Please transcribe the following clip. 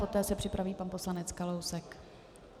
Poté se připraví pan poslanec Kalousek.